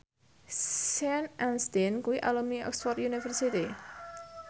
Sean Astin kuwi alumni Oxford university